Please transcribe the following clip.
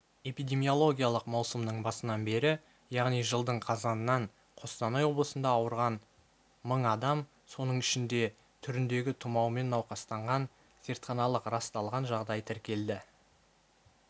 эпидемиологиялық маусымның басынан бері яғни жылдың қазанынан қостанай облысында ауырған мың адам соның ішінде түріндегі тұмаумен науқастанған зертханалық расталған жағдай тіркелді